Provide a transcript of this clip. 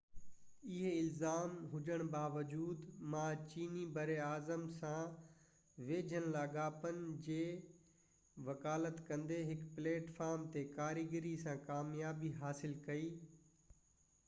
اهي الزام هجڻ باوجود ما چيني براعظم سان ويجهن لاڳاپن جي وڪالت ڪندي هڪ پليٽ فارم تي ڪاريگري سان ڪاميابي حاصل ڪئي